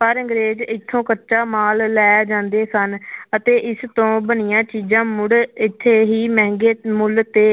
ਪਰ ਅੰਗਰੇਜ਼ ਇੱਥੋਂ ਕੱਚਾ ਮਾਲ ਲੈ ਜਾਂਦੇ ਸਨ ਅਤੇ ਇਸ ਤੋਂ ਬਣੀਆਂ ਚੀਜ਼ਾਂ ਮੁੜ ਇੱਥੇ ਹੀ ਮਹਿੰਗੇ ਮੁੱਲ ਤੇ